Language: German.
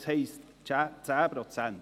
Es heisst «10 Prozent».